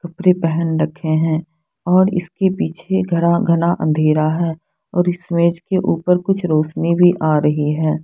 कपड़े पहन रखे हैं और इसके पीछे गड़ा घना अँधेरा है और इस मेज के ऊपर कुछ रौशनी भी आ रही है।